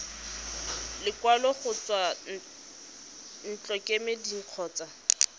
lekwalo go tswa ntlokemeding kgotsa